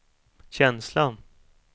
känsla